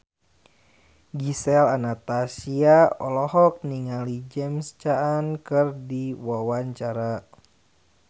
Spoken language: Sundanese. Gisel Anastasia olohok ningali James Caan keur diwawancara